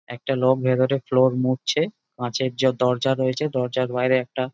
একটা লোক ভেতরে ফ্লোর মুছছে কাঁচের যা দরজা রয়েছে দরজার বাইরে একটা --